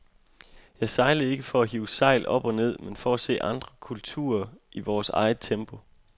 Jeg sejlede ikke for at hive sejl op og ned, men for at se andre kulturer, i vores eget tempo.